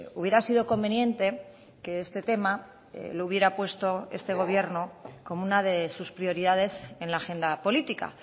hubiera sido conveniente que este tema lo hubiera puesto este gobierno como una de sus prioridades en la agenda política